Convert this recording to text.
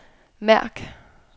mærk